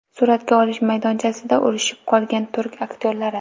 Suratga olish maydonchasida urishib qolgan turk aktyorlari .